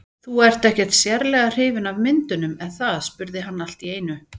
Þú ert ekkert sérlega hrifin af myndunum, er það? spurði hann allt í einu.